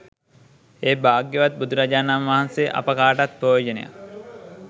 ඒ භාග්‍යවත් බුදුරජාණන් වහන්සේ අප කාටත් ප්‍රයෝජනයක්